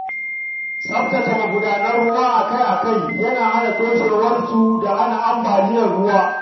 Tsaftace magudanan ruwa akai-akai yana hana toshewarsu da hana ambaliyar ruwa.